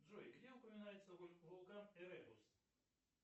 джой где упоминается вулкан эребус